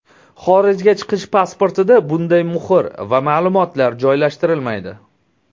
Xorijga chiqish pasportida bunday muhr va ma’lumotlar joylashtirilmaydi.